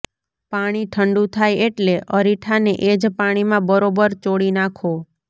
પાણી ઠંડું થાય એટલે અરીઠાને એજ પાણીમાં બરોબર ચોળી નાખો